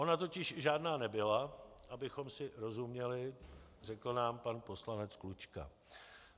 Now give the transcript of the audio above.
Ona totiž žádná nebyla, abychom si rozuměli, řekl nám pan poslanec Klučka.